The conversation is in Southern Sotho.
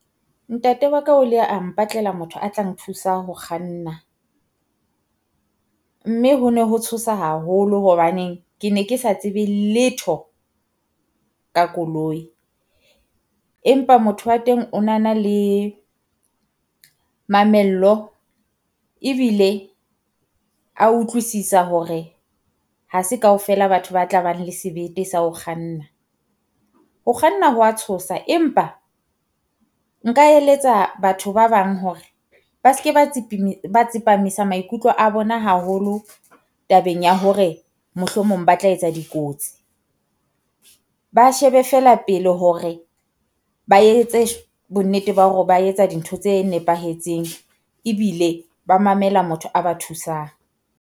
Ntate wa ka o le a mpatlela motho a tla nthusa ho kganna, mme ho ne ho tshosa haholo hobaneng ke ne ke sa tsebe letho ka koloi. Empa motho wa teng o na na le mamello ebile a utlwisisa hore ha se kaofela batho ba tla bang le sebete sa ho kganna. Ho kganna ho wa tshosa, empa nka eletsa batho ba bang hore ba se ke ba ba tsepamisa maikutlo a bona haholo tabeng ya hore mohlomong ba tla etsa dikotsi, ba shebe feela pele hore ba etse bonnete ba hore ba etsa dintho tse nepahetseng, ebile ba mamela motho a ba thusang.